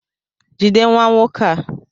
Jide nwa nwoke a!